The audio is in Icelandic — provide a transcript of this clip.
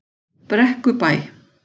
Brekkubæ